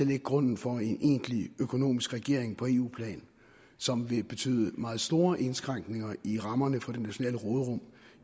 lægge grunden for en egentlig økonomisk regering på eu plan som vil betyde meget store indskrænkninger i rammerne for det nationale råderum